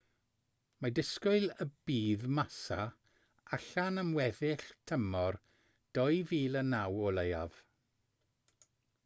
mae disgwyl y bydd massa allan am weddill tymor 2009 o leiaf